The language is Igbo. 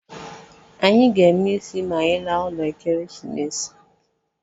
Anyị ga-eme ịsị ma anyị laa ụlọ Ekeresimese